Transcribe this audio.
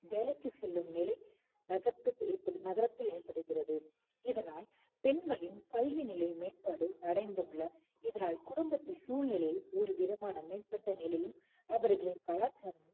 வேலைக்கு செல்லும் நிலை நகத்~ நகரத்தில் ஏற்படுகிறது இதனால் பெண்களின் கல்வி நிலை மேம்பாடு அடைந்துள்ள இதனால் குடும்பத்தில் சூழ்நிலையில் ஒருவிதமான மேம்பட்ட நிலையில் அவர்களின் கலாச்சாரமும்